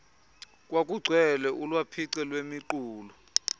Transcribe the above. kwakugcwele ulwaphice lwemiqulu